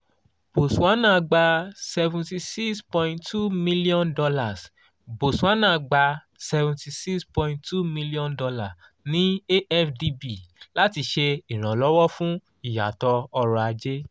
botswana gba $ seventy six point two m botswana gba $ seventy six point two m ni afdb lati ṣe iranlọwọ fun iyatọ ọrọ aje